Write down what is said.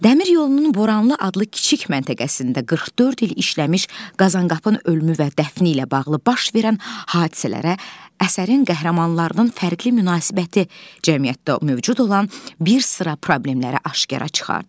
Dəmir yolunun Boranlı adlı kiçik məntəqəsində 44 il işləmiş Qazankapın ölümü və dəfni ilə bağlı baş verən hadisələrə əsərin qəhrəmanlarının fərqli münasibəti cəmiyyətdə mövcud olan bir sıra problemləri aşkara çıxardır.